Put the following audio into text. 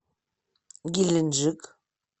геленджик